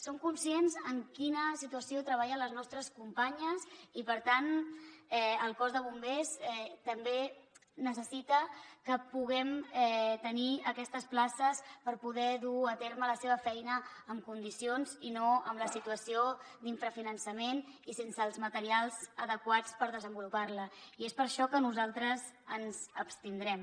som conscients en quina situació treballen les nostres companyes i per tant el cos de bombers també necessita que puguem tenir aquestes places per poder dur a terme la seva feina amb condicions i no amb la situació d’infrafinançament i sense els materials adequats per desenvolupar la i és per això que nosaltres ens hi abstindrem